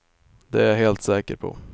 Det är jag helt säker på.